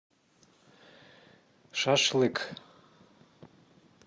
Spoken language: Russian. шашлык